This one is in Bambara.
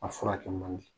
A furakɛ man di